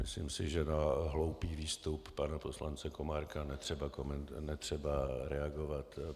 Myslím si, že na hloupý výstup pana poslance Komárka netřeba reagovat.